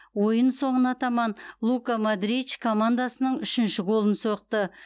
ойын соңына таман лука модрич командасының үшінші голын соқты